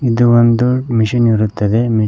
ಇದು ಒಂದು ಮಿಷಿನ್ ಇರುತ್ತದೆ ಮೀಸಿ--